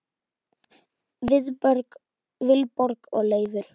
Vilborg og Leifur.